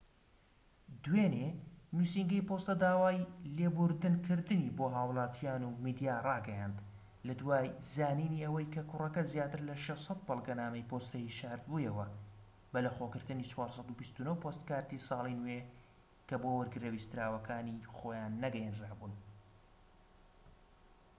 دوێنێ نووسینگەی پۆستە داوای لێبوردن کردنی بۆ هاوڵاتیان و میدیا ڕاگەیاند لە دوای زانینی ئەوەی کە کوڕەکە زیاتر لە 600 بەڵگەنامەی پۆستەیی شارد بوویەوە بەلەخۆگرتنی 429پۆستکاردی ساڵی نوێ کە بۆ وەرگرە ویستراوەکانی خۆیان نەگەیەنرا بوون